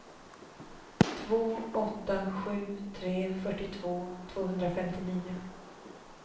två åtta sju tre fyrtiotvå tvåhundrafemtionio